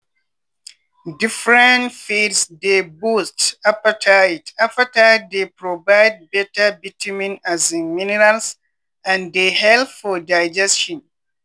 different feeds dey boost appetite appetite dey provide better vitamin um minerals and dey help for digestion.